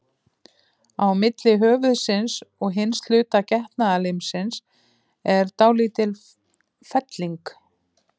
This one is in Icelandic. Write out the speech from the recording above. Á milli höfuðsins og hins hluta getnaðarlimsins er dálítil felling.